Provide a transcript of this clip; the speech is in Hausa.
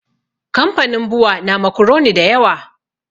Kamfanin bua na makuroni da yawa